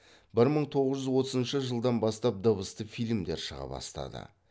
бір мың тоғыз жүз отызыншы жылдан бастап дыбысты фильмдер шыға бастады